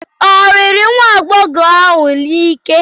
Ọ riri nwa agbọghọ ahụ n'ike?